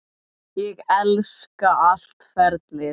Ég elska allt ferlið.